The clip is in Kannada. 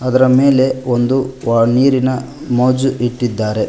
ಇದರ ಮೇಲೆ ಒಂದು ವಾ ನೀರಿನ ಮೋಜು ಇಟ್ಟಿದ್ದಾರೆ.